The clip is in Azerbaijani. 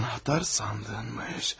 Anahtar sandınmış.